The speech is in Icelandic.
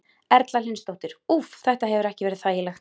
Erla Hlynsdóttir: Úff, þetta hefur ekki verið þægilegt?